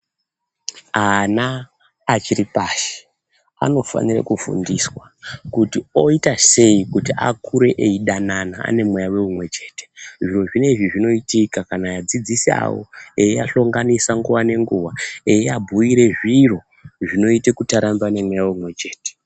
Ana achiripashi anofanira kufundiswa kuti oyitasei kuti akure eyidanana anemweya oumwe chete zviro zvinezvi zvinoitika kana vadzidzisi avo veyiahlonganisa nguwa nenguwa eyi ahbuyira zviro zvinoita kuyi arsmbw anemweya umwe chete